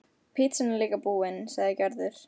Pitsan er líka búin, sagði Gerður.